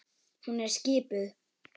Hún er skipuð.